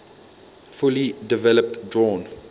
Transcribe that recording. fully developed drawn